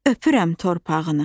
öpürəm torpağını.